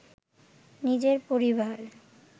নিজের পরিবার